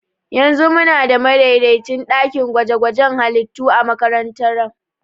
Yanzu muna da madaidaicin ɗakin gwaje-gwajen halittu a makarantara.